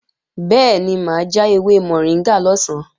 Bẹ́ẹ̀ni mà á ja ewé mọ̀ríngà lọ̀sán